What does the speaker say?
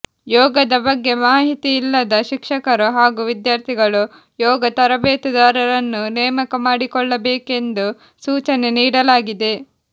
ಯೋಗದ ಬಗ್ಗೆ ಮಾಹಿತಿಯಿಲ್ಲದ ಶಿಕ್ಷಕರು ಹಾಗೂ ವಿದ್ಯಾರ್ಥಿಗಳು ಯೋಗ ತರಬೇತುದಾರರನ್ನು ನೇಮಕ ಮಾಡಿಕೊಳ್ಳಬೇಕೆಂದು ಸೂಚನೆ ನೀಡಲಾಗಿದೆ